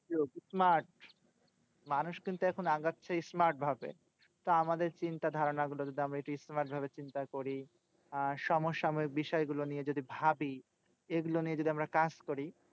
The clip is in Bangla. যুগ smart. মানুষ কিন্তু এখন আগাচ্ছে smart ভাবে। তো আমাদের চিন্তা ধারণা গুলো যদি আমরা একটু smart ভাবে চিন্তা করি। আহ সমসাময়িক বিষয় গুলো নিয়ে যদি ভাবি। এগুলো নিয়ে যদি আমরা কাজ করি।